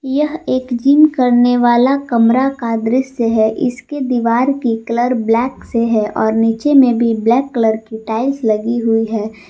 यह एक जिम करने वाला कमरा का दृश्य है इसके दीवार की कलर ब्लैक से है और नीचे में भी ब्लैक कलर की टाइल्स लगी हुई है।